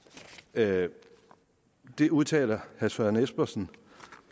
det det udtaler herre søren espersen